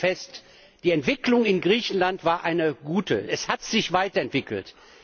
Ich stelle nur fest Die Entwicklung in Griechenland war eine gute, es hat sich weiterentwickelt.